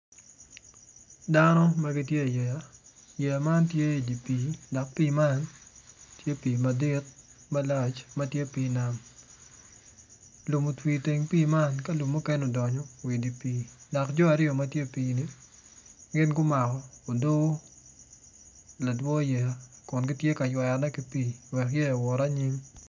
Dano ma gitye i yeya yeya man tye pii madit tye pii nam madit lum otwi i teng pii man dok otwi wa i dye nam dok jo aryo ma gitye i dye pii0ni gumako odoo.